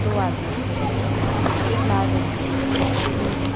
दो आदमी खड़े है एक लाल रंग कि कुर्सी रखी हुई है --